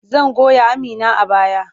Zan goya Amina a baya.